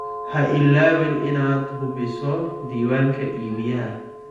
Ha ilaawin inaad hubiso diiwaanka iibiyaha.